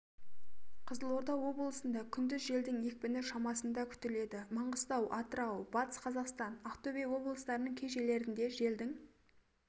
қызылорда облысында күндіз желдің екпіні шамасында күтіледі маңғыстау атырау батыс қазақстан ақтөбе облыстарының кей жерлерінде желдің